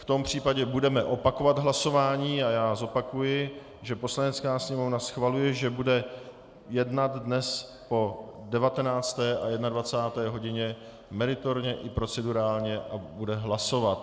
V tom případě budeme opakovat hlasování a já zopakuji, že Poslanecká sněmovna schvaluje, že bude jednat dnes po 19. a 21. hodině meritorně i procedurálně a bude hlasovat.